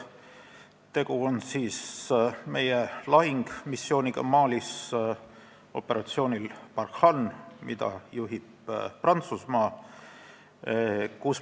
Tegu on meie lahingumissiooniga Malis operatsioonil Barkhane, mida juhib Prantsusmaa.